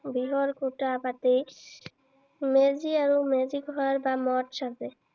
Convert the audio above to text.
বাহৰ খুটা পাতি, মেজি আৰু মেজি ঘৰ বা মচ সাজে।